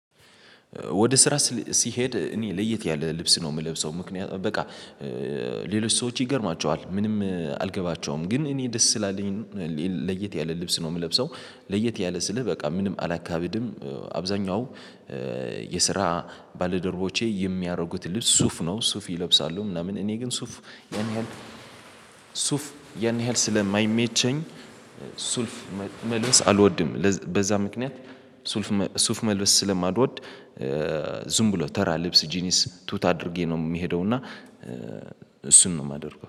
ወደ ስራ ሲሄድ እኔ ለየት ያለ ልብስ ነው የምለብሰው ምክንያቱም በቃ ሌሎች ሰዎች ይገርማቸዋል ምንም አልገባቸውም ግን እኔ ደስ ስላለኝ ለየት ያለ ልብስ ነው የምለብሰው። ለየት ያለ ስልህ በቃ ምንም አላካብድም። አብዛኛው የስራ ባለደርቦቼ የሚያደርጉት ልብስ ሱፍ ነው ሱፍ ይለብሳሉ ምናምን እኔ ግን ሱፍ ያን ያህል ሱፍ ያን ያህል ስለማይመቸኝ። ሱልፍ መልበስ አልወድም በዛ ምክንያት ሱፍ ሱፍ መልበስ ስለማልወድ። ብሎ ተራ ልብስ ጂንስ ቱት አድርጌ ነው የሚሄደው እና እሱን ነው የማደርገው